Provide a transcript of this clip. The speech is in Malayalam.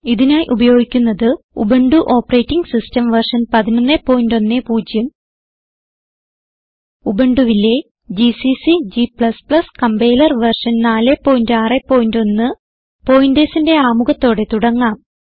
ഇതിനായി ഉപയോഗിക്കുന്നത് ഉബുന്റു ഓപ്പറേറ്റിംഗ് സിസ്റ്റം വെർഷൻ 1110 ഉബുണ്ടുവിലെ ജിസിസി g കമ്പൈലർ വെർഷൻ 461 pointersന്റെ ആമുഖത്തോടെ തുടങ്ങാം